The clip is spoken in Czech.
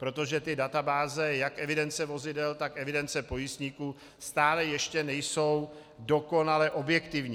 Protože ty databáze, jak evidence vozidel, tak evidence pojistníků, stále ještě nejsou dokonale objektivní.